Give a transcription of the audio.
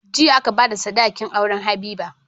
Jiya aka bada sadakin auren habiba